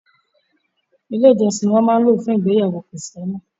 Ilé ìjọsìn ni wọ́n máa ń lò fún ìgbéyàwó kìrìsìtẹ́nì